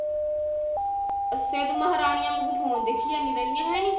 ਅੱਛਾ ਤੂੰ ਮਹਾਰਾਨੀਆ ਵਾਂਗੂ ਫੋਨ ਦੇਖੀ ਜਾਂਦੀ ਰਹਿੰਦੀ ਆ ਹੈਨੀ